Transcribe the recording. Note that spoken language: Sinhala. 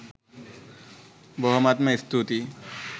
බොහොමත්ම ස්තූතියි.